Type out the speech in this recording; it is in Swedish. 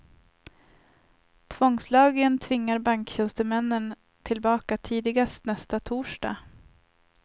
Tvångslagen tvingar banktjänstemännen tillbaka tidigast nästa torsdag.